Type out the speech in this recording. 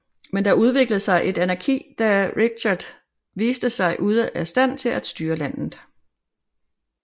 Men der udviklede sig et anarki da Richard viste sig ude af stand til styre landet